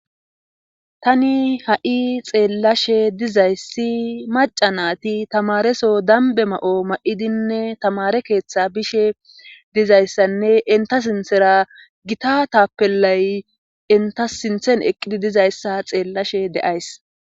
Tani ha'i xeellashe dizayssi maca naati tamareso dambe ma'o ma'idinne tamare keeththa bishe dizayssanne inta sinthera gita taapellay inta sinthen eqqidi dizayssa xeellashe de'ays.